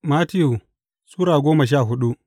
Mattiyu Sura goma sha hudu